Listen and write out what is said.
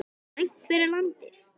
Slæmt fyrir landið!